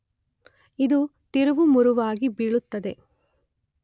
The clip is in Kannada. ಇದು ತಿರುವುಮುರುವಾಗಿ ಬೀಳುತ್ತದೆ